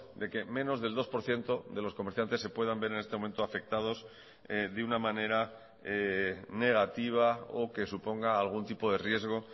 de que menos del dos por ciento de los comerciantes se puedan ver en este momento afectados de una manera negativa o que suponga algún tipo de riesgo